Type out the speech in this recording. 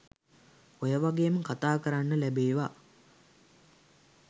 ඔය වගේම කතාකරන්න ලැබේවා